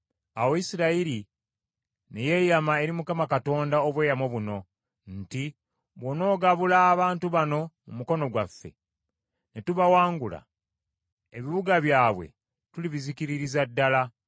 Awo Isirayiri ne yeeyama eri Mukama Katonda obweyamo buno nti, “Bw’onoogabula abantu bano mu mukono gwaffe, ne tubawangula, ebibuga byabwe tulibizikiririza ddala.”